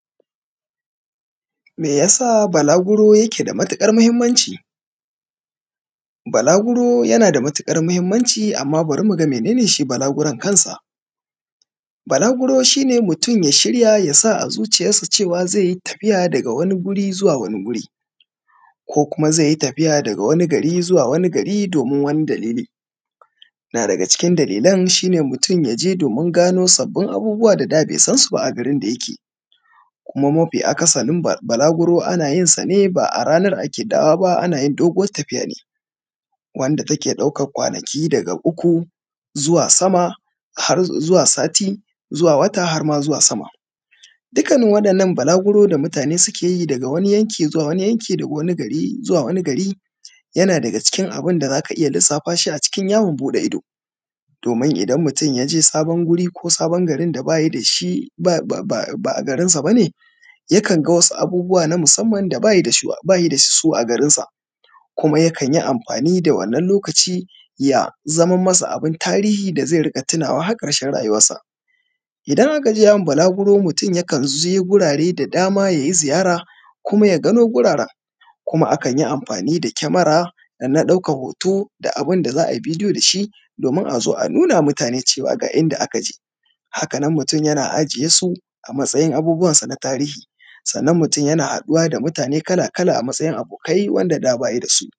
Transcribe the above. meyasa balaguro yake da matukar mahimmanci balaguro yanada matukar mahimmanci amma bari muga mene ne shi balaguron kansa balaguro shine mutum ya shirya yasa azuciyar sa cewa zaiyi tafiya daga wani guri zuwa wani guri ko kuma zaiyi tafiya daga wani gari zuwa wani gari domin wani dalili na daga cikin dalilan mutum yaje domin gano wasu sabbin abubuwa da da bai sansu ba a garin da yake kuma mafi akasarin balaguro anayin sane ba’a ranan ake dawo ba anayin dogon tafiya ne wanda take daukan kwanaki daga uku zuwa samaƙ har zuwa sati zuwa wata harma zuwa sama dukkanin wadannan balaguro da mutane sukeyi daga wani yanki zuwa wani yanki daga wani gari zuwa wani gari yana daga cikin abunda zaka iyya lissafashi a matsayin yawon bude ido domin idan mutun yaje sabon guri ko sabon garin da ba nasa bane ya kanga wasu abubuwa na musamman da bayi dasu a garin sa kuma yakan yi amfani da wannan lokaci ya zama masa abun tarihi da zai iyya tunawa har karshen rayuwan sa idan akaje yawon balaguro mutun yakan je gurare da dama yayi ziyara kuma ya gano guraren kuma akanyi amfani da kamera na daukan da abunda za’a bidiyo dashi domin azo a nunama mutane ga inda akaje hakanan mutun yana ajiye su a matsayin abubuwan san a tarihi sannan mutun yana haduwa da mutane kala kala a matsayin abokai wanda da bayida su